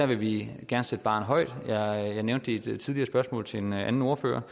vi gerne sætte barren højt jeg nævnte i et tidligere spørgsmål til en anden ordfører